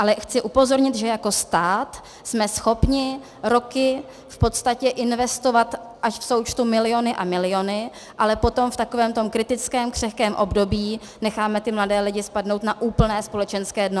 Ale chci upozornit, že jako stát jsme schopni roky v podstatě investovat až v součtu miliony a miliony, ale potom v takovém tom kritickém, křehkém období necháme ty mladé lidi spadnout na úplné společenské dno.